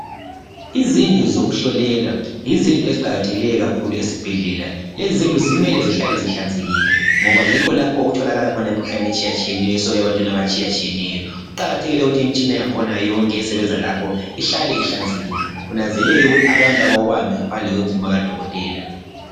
Izindlu zokuhlolela yizindlu eziqakathekileyo kakhulu esibhedlela. Lezi zindlu zimele zihlale zihlanzekile ngoba yikho lapho okutholakala khona imikhuhlane etshiyatshiyeneyo esuka ebantwini abatshiyatshiyeneyo. Kuqakathekile ukuthi imitshina yangkhona yonke esebenza lapho ihlale ihlanzekile ,kunanzeleleke ukuthi abantu abawubambi ngaphandle kwemvumo kadokotela.